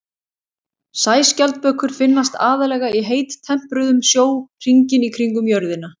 Sæskjaldbökur finnast aðallega í heittempruðum sjó hringinn í kringum jörðina.